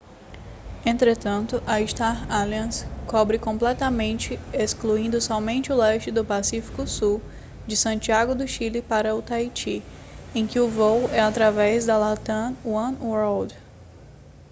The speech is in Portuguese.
entretanto a star alliance cobre completamente excluindo somente o leste do pacífico sul de santiago do chile para o taiti em que o voo é através da latam oneworld